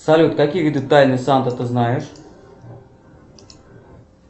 салют какие виды тайны санты ты знаешь